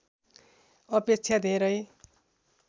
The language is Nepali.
अपेक्षा धेरै